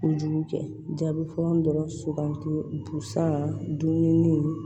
Kojugu kɛ jaabi fɔlɔ dɔrɔn suganti busan dumuni